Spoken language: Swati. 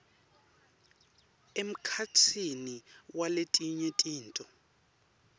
emkhatsini waletinye tintfo